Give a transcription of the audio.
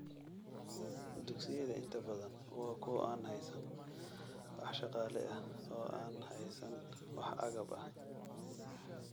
Dugsiyada inta badan waa kuwo aan haysan wax shaqaale ah oo aan haysan wax agab ah.